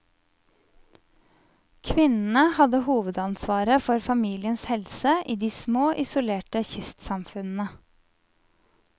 Kvinnene hadde hovedansvaret for familiens helse i de små, isolerte kystsamfunnene.